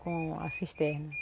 com a cisterna.